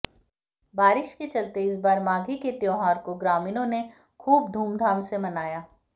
बारिश के चलते इस बार माघी के त्योहार को ग्रामीणों ने खूब धूमधाम से मनाया